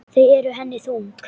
Þau eru henni þung.